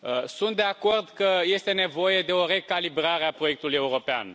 Sunt de acord că este nevoie de o recalibrare a proiectului european.